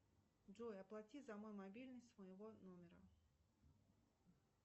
джой оплати за мой мобильный с моего номера